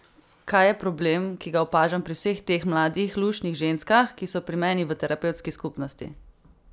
Kaj je problem, ki ga opažam pri vseh teh mladih, luštnih ženskah, ki so pri meni v terapevtski skupnosti?